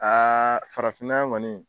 Aaa farafinnan yan kɔni